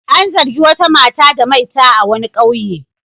An zargi wata mata da maita a wani ƙauye.